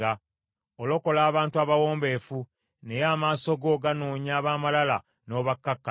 Olokola abantu abawombeefu, naye amaaso go ganoonya ab’amalala n’obakkakkanya.